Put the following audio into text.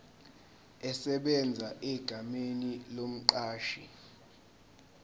esebenza egameni lomqashi